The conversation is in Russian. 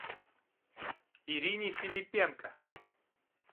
ирине филиппенко